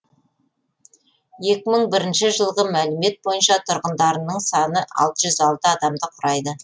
екі мың бірінші жылғы мәлімет бойынша тұрғындарының саны алты жүз алты адамды құрайды